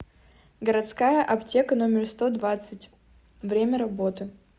городская аптека номер сто двадцать время работы